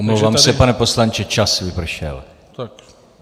Omlouvám se, pane poslanče, čas vypršel.